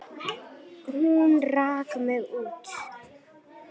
Hún rak mig út.